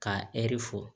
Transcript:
K'a ɛri fɔ